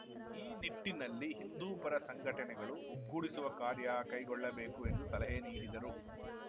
ಈ ನಿಟ್ಟಿನಲ್ಲಿ ಹಿಂದೂಪರ ಸಂಘಟನೆಗಳು ಒಗ್ಗೂಡಿಸುವ ಕಾರ್ಯ ಕೈಗೊಳ್ಳಬೇಕು ಎಂದು ಸಲಹೆ ನೀಡಿದರು